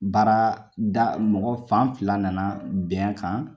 Baara da mɔgɔ fan fila nana bɛn kan